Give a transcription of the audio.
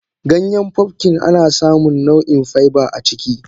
Ganyen pumpkin anasamun nau in faiba aciki.